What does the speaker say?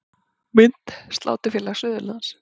Mynd: Sláturfélag Suðurlands